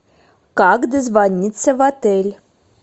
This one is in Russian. как дозвониться в отель